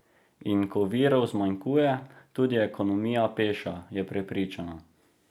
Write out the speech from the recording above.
In ko virov zmanjkuje, tudi ekonomija peša, je prepričana.